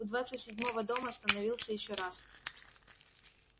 у двадцать седьмого дома остановился ещё раз